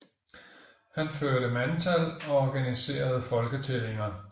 Han førte mandtal og organiserede folketællinger